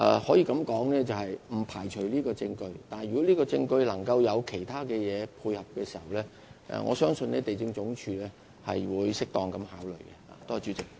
可以這樣說，不排除這項證據會被接納，但如有其他條件能配合這項證據，我相信地政總署會作出適當考慮。